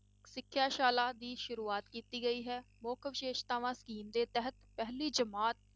ਸਿਖਿਆ ਸ਼ਾਲਾ ਦੀ ਸ਼ੁਰੂਆਤ ਕੀਤੀ ਗਈ ਹੈ, ਮੁੱਖ ਵਿਸ਼ੇਸ਼ਤਾਵਾਂ scheme ਦੇ ਤਹਿਤ ਪਹਿਲੀ ਜਮਾਤ